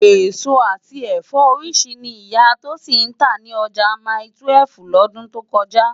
Esó ati ẹfọ óriṣirṣi ni Iyà Tosin ntá ni òjá máitúèf lòdún tó kòjá